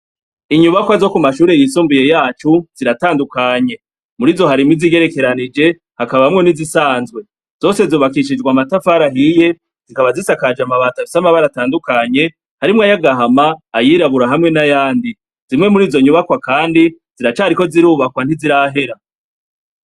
Inyubakwa zo ku mashure yisumbuye yacu ziratandukanye, murizo harimwo izigerekeranije, hakabamwo n'izisanzwe. Zose zubakishijwe amatafari ahiye ,zikaba zisakajwe amabati afise amabara atandukanye, harimw'ayagahama, ayirabura hamwe n'ayandi. Zimwe murizo nyubakwa kandi ziracariko zirubakwa ntizirahera.